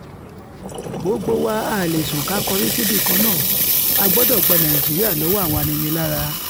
gbogbo wa a lè sún ká kọrí síbì kan náà a gbọ́dọ̀ gba nàìjíríà lọ́wọ́ àwọn aninilára